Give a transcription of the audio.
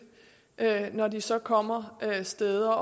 når de så kommer steder